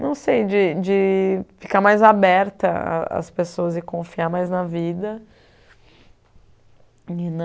Não sei, de de ficar mais aberta a às pessoas e confiar mais na vida. E